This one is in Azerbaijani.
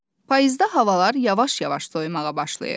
Payızda havalar yavaş-yavaş soyumağa başlayır.